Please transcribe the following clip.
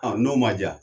n'o ma ja